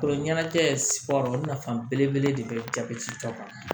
Kolo ɲɛnajɛ olu nafa belebele de bɛ jabɛti ta banna